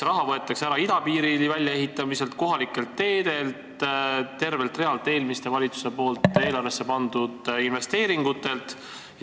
Raha võetakse ära idapiiri väljaehitamiselt, kohalikelt teedelt – tervelt realt eelmiste valitsuste eelarvesse pandud investeeringutelt.